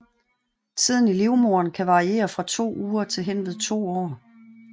Tiden i livmoderen kan variere fra to uger til henved to år